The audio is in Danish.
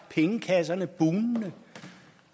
pengekasser